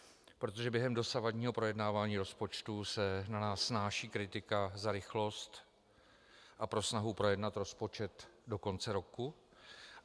Protože během dosavadního projednávání rozpočtu se na nás snáší kritika za rychlost a pro snahu projednat rozpočet do konce roku.